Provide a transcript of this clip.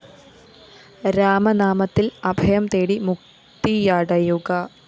രാമനാമത്തില്‍ അഭയം തേടി മുക്തിയടയുക